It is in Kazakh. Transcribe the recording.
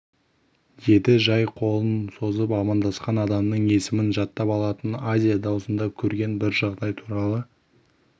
еді жай қолын созып амандасқан адамның есімін жаттап алатын азия даусында көрген бір жағдай туралы